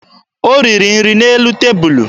O riri nri n'elu tebulu